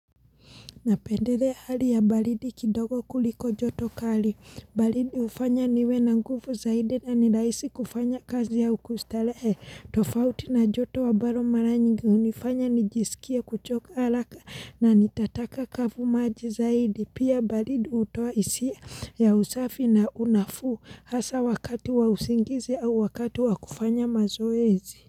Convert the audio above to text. Napendelea hali ya balidi kidogo kuliko joto kali, balidi ufanya niwe na ngufu zaidi na nilaisi kufanya kazi au kustarehe, tofauti na joto ambaro mara nyingi unifanya nijisikie kuchoka alaka na nitataka kafu maji zaidi, pia balidi utoa isi ya usafi na unafuu hasa wakati wa usingizi au wakati wa kufanya mazoezi.